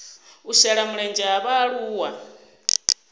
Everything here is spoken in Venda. u shela mulenzhe ha vhaaluwa